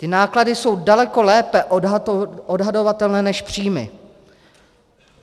Ty náklady jsou daleko lépe odhadovatelné než příjmy.